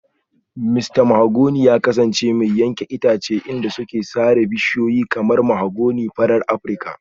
Mista Danladi ya kasance mai yankan itace inda suke sare manyan bishiyoyi kamar mahogany farar Afirka